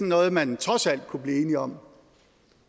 noget man trods alt kunne blive enige om